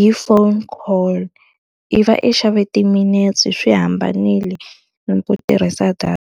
hi phone call, i va i xave timinetse swi hambanile na ku tirhisa data.